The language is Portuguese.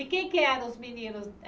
E quem é que eram os meninos?